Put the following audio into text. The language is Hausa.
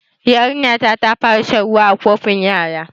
Yarinya ta fara shan ruwa da kofin yara